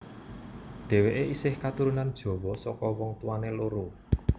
Dhéwéké isih katurunan Jawa saka wong tuwané loro